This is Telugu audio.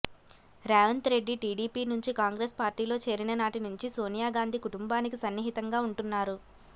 రేవంత్ రెడ్డి టీడీపీ నుంచి కాంగ్రెస్ పార్టీలో చేరిన నాటి నుంచి సోనియా గాంధీ కుటుంబానికి సన్నిహితంగా ఉంటున్నారు